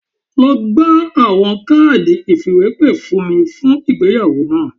Lọ gba awọn kaadi ifiwepe fun mi fun igbeyawo naa